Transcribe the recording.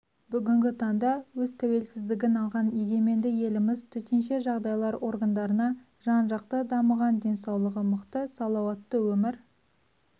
бүгінгі таңда өз тәуелсіздігін алған егеменді еліміз төтенше жағдайлар органдарына жан-жақты дамыған денсаулығы мықты салауатты өмір